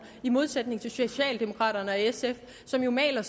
i modsætning til socialdemokraterne og sf som jo maler